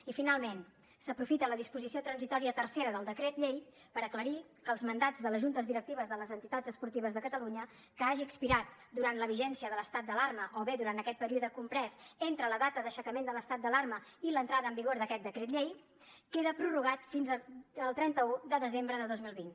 i finalment s’aprofita la disposició transitòria tercera del decret llei per aclarir que els mandats de les juntes directives de les entitats esportives de catalunya que hagi expirat durant la vigència de l’estat d’alarma o bé durant aquest període comprès entre la data d’aixecament de l’estat d’alarma i l’entrada en vigor d’aquest decret llei queda prorrogat fins al trenta un de desembre de dos mil vint